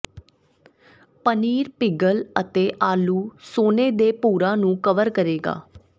ਪਨੀਰ ਪਿਘਲ ਅਤੇ ਆਲੂ ਸੋਨੇ ਦੇ ਭੂਰਾ ਨੂੰ ਕਵਰ ਕਰੇਗਾ